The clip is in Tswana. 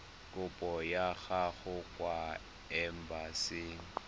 kopo ya gago kwa embasing